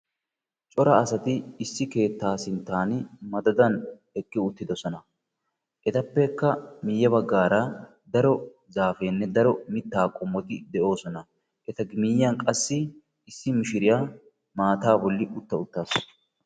cora asati issi keettaa sinttan madadan eqi uttidoosona ettappekka miyye baggara daro zaapenne daro mitta qommoti de'oosona eta miyiyyan qassi issi mishiriyaa maata bolli utta uttaasu.